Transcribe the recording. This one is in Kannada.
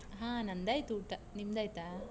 ಹಾ ನಂದಾಯ್ತು ಊಟ. ನಿಮ್ದಾಯ್ತಾ?